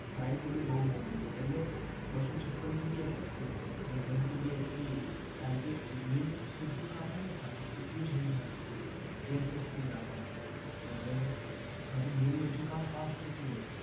price એની બહુ મોંઘી છે એટલે બસો છપ્પન GBSSD અને one TBHDD કારણકે main બધુ કામ હોય ને એ બધુ c drive માં રાખવાનું એ SSD રાખવાની એટલે તારું main બધુ કામ fast થતું રહે.